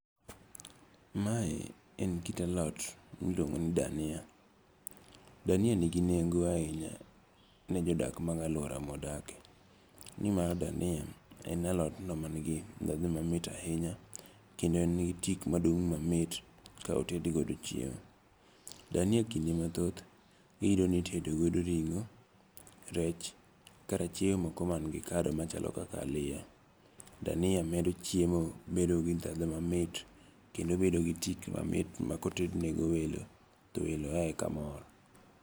Mae en kit alot miluongo ni dania. Dania nigi nengo ahinya ne jodak mag aluora ma wadakie, Nimar dania en alot no man gi dhadho mamit ahinya kendo en got ik maduk mamit ka oted go chiemo. Dania kinde mathoth iyudo ni itedo go ring'o, rech kata chiemo moko man gi kado machalo kaka aliya. Dania medo chiemo bedo gi dhadho mamit kendo bedo gi tik mamit ma koted ne go welo to welo ae ka mor.